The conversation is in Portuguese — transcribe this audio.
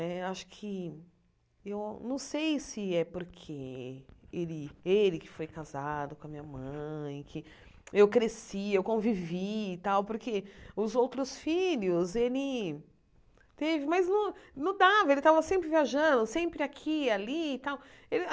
Eh acho que eu não sei se é porque ele ele que foi casado com a minha mãe, que eu cresci, eu convivi e tal, porque os outros filhos ele teve, mas não não dava, ele tava sempre viajando, sempre aqui, ali e tal. Ele ah